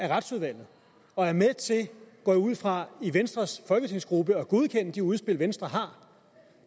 retsudvalget og er med til går jeg ud fra i venstres folketingsgruppe at godkende de udspil venstre har